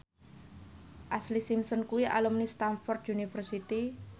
Ashlee Simpson kuwi alumni Stamford University